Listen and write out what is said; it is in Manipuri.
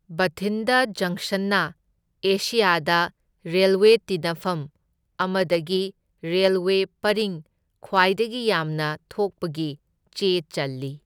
ꯕꯊꯤꯟꯗ ꯖꯪꯁꯟꯅ ꯑꯦꯁꯤꯌꯥꯗ ꯔꯦꯜꯋꯦ ꯇꯤꯟꯅꯐꯝ ꯑꯃꯗꯒꯤ ꯔꯦꯜꯋꯦ ꯄꯔꯤꯡ ꯈ꯭ꯋꯥꯏꯗꯒꯤ ꯌꯥꯝꯅ ꯊꯣꯛꯄꯒꯤ ꯆꯦ ꯆꯜꯂꯤ꯫